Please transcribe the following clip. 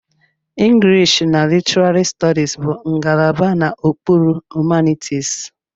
English na Literary Studies bụ ngalaba n'okpuru Humanities.